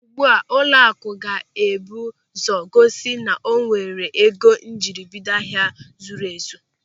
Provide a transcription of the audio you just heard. Ugbu a ụlọakụ ga-ebu ụzọ gosi na o nwere ego njiribido ahịa zuru ezu.